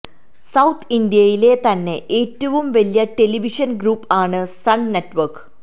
south ഇന്ത്യയിലെ തന്നെ ഏറ്റവും വലിയ ടെലിവിഷൻ ഗ്രൂപ്പ് ആണ് സൺ നെറ്റ്വർക്ക്